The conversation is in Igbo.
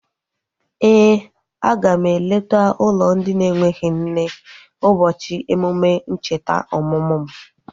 Éè, a ga m eleta ụlọ ndị na-enweghị nne ụbọchị emume ncheta ọmụmụ m